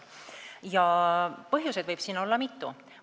Põhjuseid võib siin olla mitu.